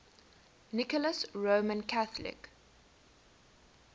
nicholas roman catholic